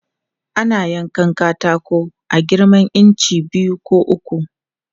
Ana yankan katako a girman inci biyu ko uku.